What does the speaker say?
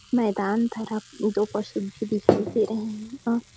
मैदान तरफ दो पशु भी दिखाई दे रहे हैं और--